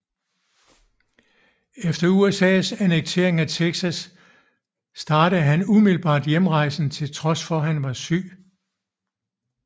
Etter USAs annektering af Texas startede han umiddelbart hjemrejsen til trods for at han var syg